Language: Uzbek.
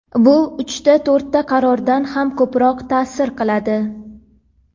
bu – uchta-to‘rtta qarordan ham ko‘proq taʼsir qiladi.